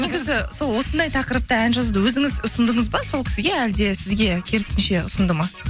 негізі сол осындай тақырыпта ән жазуды өзіңіз ұсындыңыз ба сол кісіге әлде сізге керісінше ұсынды ма